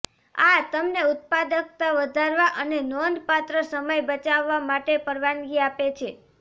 આ તમને ઉત્પાદકતા વધારવા અને નોંધપાત્ર સમય બચાવવા માટે પરવાનગી આપે છે